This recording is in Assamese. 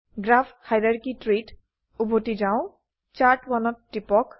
গ্ৰাফ হাইৰাৰ্কী ত্ৰী ত উভতি যাও Chart1ত টিপক